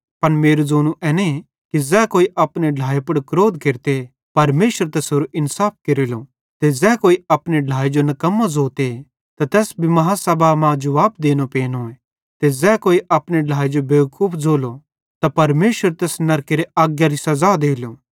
पन मेरू ज़ोनू एने कि ज़ै कोई अपने ढ्लाए पुड़ क्रोध केरते परमेशर तैसेरो इन्साफ केरेलो ते ज़ै कोई अपने ढ्लाए जो निकम्मो ज़ोते त तैस भी बड्डी आदालती मां जुवाब देनो पेनोए ते ज़ै कोई अपने ढ्लाए जो बेवकूफ ज़ोलो त परमेशर तैस नरकेरे अगारी सज़ा देलो